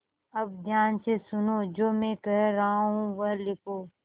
अब ध्यान से सुनो जो मैं कह रहा हूँ वह लिखो